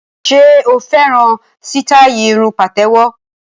Ṣe o fẹ́ràn sítáì irun pàtéwọ́?